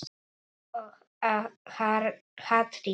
Og hatrið.